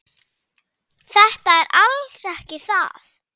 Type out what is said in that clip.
Þetta er alls ekki það.